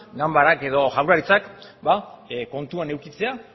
ganbarak edo jaurlaritzak kontuan edukitzea